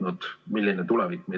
Neid koolihooneid on üle 700.